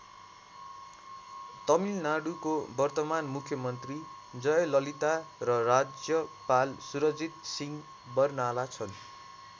तमिलनाडुको वर्तमान मुख्यमन्त्री जयललिता र राज्यपाल सुरजीत सिंह बरनाला छन्।